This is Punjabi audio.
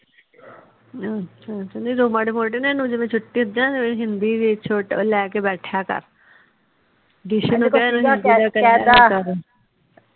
ਅੱਛਾ ਜਦੋ ਮਾਰੀ ਮੋਟੀ ਇਹਨੂੰ ਜਿਵੇ ਛੁੱਟੀ ਹੁੰਦੀ ਨਾ ਇਹਨੂੰ ਹਿੰਦੀ ਵੀ ਲੈ ਕੇ ਬੈਠਿਆ ਕਰ